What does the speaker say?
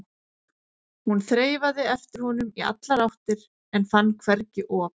Hún þreifaði eftir honum í allar áttir en fann hvergi op.